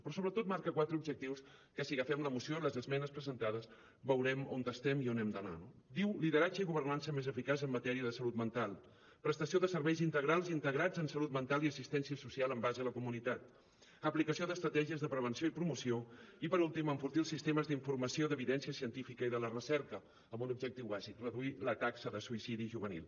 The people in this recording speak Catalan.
però sobretot marca quatre objectius que si agafem la moció i les esmenes presentades veurem on estem i on hem d’anar no diu lideratge i governança més eficaç en matèria de salut mental prestació de serveis integrals i integrats en salut mental i assistència social amb base a la comunitat aplicació d’estratègies de prevenció i promoció i per últim enfortir els sistemes d’informació d’evidència científica i de la recerca amb un objectiu bàsic reduir la taxa de suïcidi juvenil